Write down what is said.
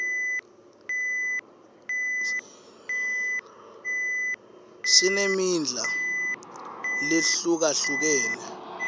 singmidla lehlukahlukene